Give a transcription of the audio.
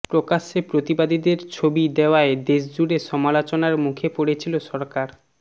প্রকাশ্য়ে প্রতিবাদীদের ছবি দেওয়ায় দেশজুড়ে সমালোচনার মুখে পড়েছিল সরকার